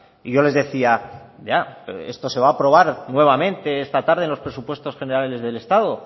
y yo les decía ya esto se va a aprobar nuevamente esta tarde en los presupuestos generales del estado